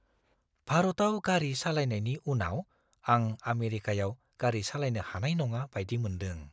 भारतआव गारि सालायनायनि उनाव आं आमेरिकायाव गारि सालायनो हानाय नङा बायदि मोनदों।